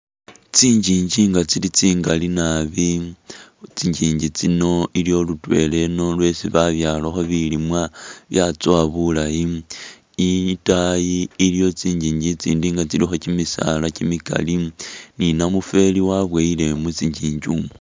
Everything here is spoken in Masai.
Tsinjinji nga tsili tsingali nabi khutsinjinji tsino iliyo lutwela ino lwesi babyalakho bilimwa byatsowa bulayi itayi iliyo tsinjinji itsindi nga tsilikho kyimisala kyimikali ni namufeli wabuyile mutsinjinji mwo.